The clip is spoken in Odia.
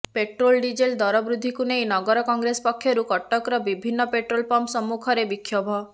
ପେଟ୍ରୋଲ ଡିଜେଲ ଦର ବୃଦ୍ଧିକୁ ନେଇ ନଗର କଂଗ୍ରେସ ପକ୍ଷରୁ କଟକର ବିଭିନ୍ନ ପେଟ୍ରୋଲ ପମ୍ପ ସମ୍ମୁଖରେ ବିକ୍ଷୋଭ